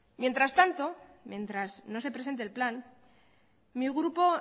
mientras tanto mientras no se presente el plan mi grupo